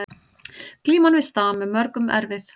Glíman við stam er mörgum erfið